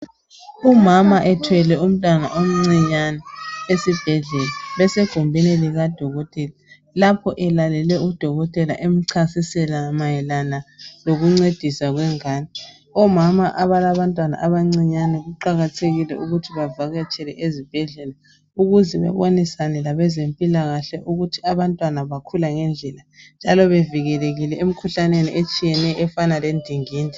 Umama ethwele umntwana omncinyane esibhedlela esegumbini likadokotela. Lapho elalele udokotela emchasisela mayelana lokuncediswa kwengane. Omama abalabantwana abancinyane kuqakathekile ukuthi bavakatshele ezibhedlela ukuze babonisane labezempilakahle ukuthi bantwana bakhula ngendlela njalo bevikelekile emikhuhlaneni etshiyeneyo efana lendingindi.